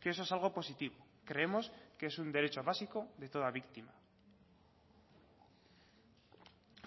que eso es algo positivo creemos que es un derecho básico de toda víctima